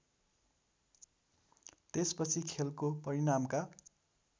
त्यसपछि खेलको परिणामका